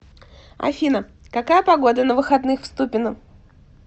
афина какая погода на выходных в ступино